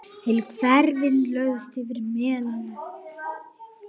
Heilu hverfin lögðust yfir melana.